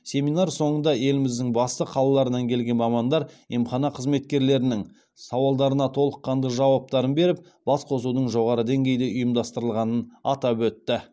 семинар соңында еліміздің басты қалаларынан келген мамандар емхана қызметкерлерінің сауалдарына толыққанды жауаптарын беріп басқосудың жоғары деңгейде ұйымдастырылғанын атап өтті